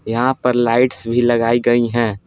यहाँ पर लाइट्स भी लगाई गई हैं ।